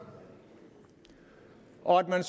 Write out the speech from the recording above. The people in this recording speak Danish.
og man